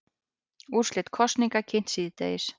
Úrslit kosninga kynnt síðdegis